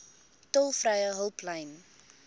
tolvrye hulplyn